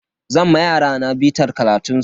Zan ma yarana bitar karatun su.